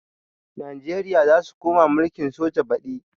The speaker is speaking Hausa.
Najeriya zasu koma mulkin soja badi